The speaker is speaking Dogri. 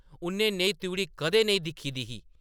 उʼन्नै नेही त्रिउढ़ी कदें नेईं दिक्खी दी ही ।